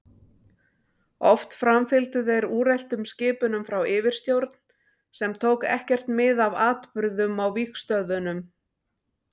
Oft framfylgdu þeir úreltum skipunum frá yfirstjórn sem tók ekkert mið af atburðum á vígstöðvunum.